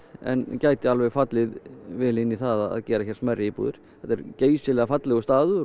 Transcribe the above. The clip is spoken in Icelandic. en gæti alveg fallið vel inn í það að gera hér smærri íbúðir þetta er geysilega fallegur staður